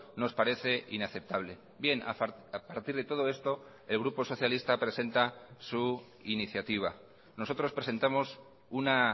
nos parece inaceptable bien a partir de todo esto el grupo socialista presenta su iniciativa nosotros presentamos una